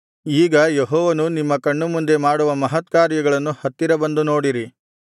ಈಗ ಯೆಹೋವನು ನಿಮ್ಮ ಕಣ್ಣುಮುಂದೆ ಮಾಡುವ ಮಹತ್ಕಾರ್ಯವನ್ನು ಹತ್ತಿರ ಬಂದು ನೋಡಿರಿ